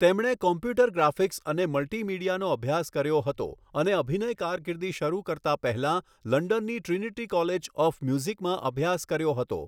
તેમણે computer graphics અને મલ્ટિમીડિયાનો અભ્યાસ કર્યો હતો અને અભિનય કારકિર્દી શરૂ કરતા પહેલા લંડનની ટ્રિનિટી કોલેજ ઓફ મ્યુઝિકમાં અભ્યાસ કર્યો હતો.